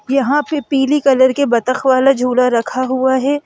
यहां पे पीली कलर के बतख वाला झूला रखा हुआ है।